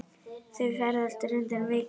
Þau ferðist reyndar mikið.